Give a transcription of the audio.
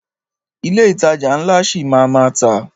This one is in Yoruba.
Ilé ìtajà ńlá ṣi máa a má tà.